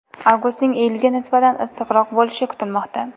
Avgustning iyulga nisbatan issiqroq bo‘lishi kutilmoqda.